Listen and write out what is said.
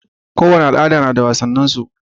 Kowane al'ada nada wasannin su